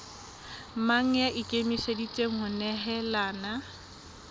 mang ya ikemiseditseng ho nehelana